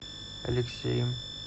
алексеем